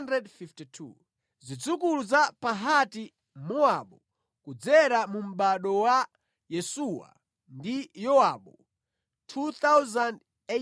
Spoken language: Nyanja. Zidzukulu za Pahati-Mowabu (kudzera mu mʼbado wa Yesuwa ndi Yowabu) 2,818